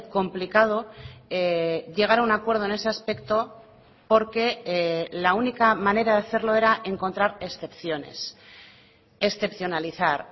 complicado llegar a un acuerdo en ese aspecto porque la única manera de hacerlo era encontrar excepciones excepcionalizar